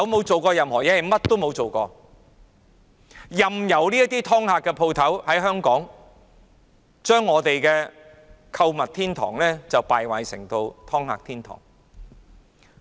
政府甚麼也沒有做過，任由"劏客"店繼續在港經營，將香港購物天堂的美譽敗壞為"劏客"天堂。